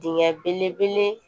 Dingɛ belebele